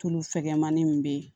Tulu fɛgɛnmani min bɛ yen